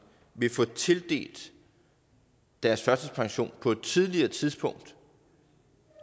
vil få tildelt deres førtidspension på et tidligere tidspunkt